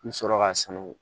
N mi sɔrɔ k'a sanuya